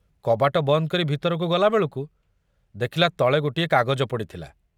କବାଟ ବନ୍ଦ କରି ଭିତରକୁ ଗଲାବେଳକୁ ଦେଖୁଲା ତଳେ ଗୋଟିଏ କାଗଜ ପଡ଼ିଥିଲା।